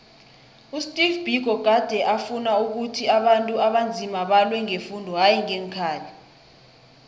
usteve biko gade afuna ukhuthi abantu abanzima balwe ngefundo hayi ngeenkhali